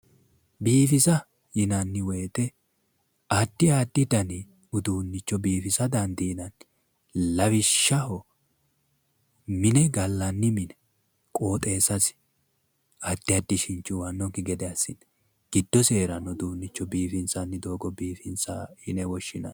Biifisa yinanni woyte addi addi dani uduunnicho biifisa dandiinanni, lawishshaho mine gallanni mine, qooxeessasi addi addi ishinchi uwannokki gede assine giddosi hee'ranno uduunnicho biifinsanni doogo biifisa yine woshshinanni